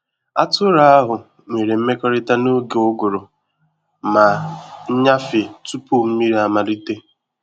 Atụrụ ahụ nwere mmekọrịta n’oge uguru ma nnyafe tupu mmiri amalite.